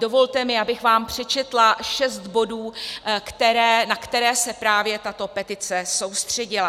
Dovolte mi, abych vám přečetla šest bodů, na které se právě tato petice soustředila.